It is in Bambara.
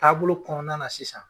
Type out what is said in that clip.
Ta bolo kɔnɔna na sisan.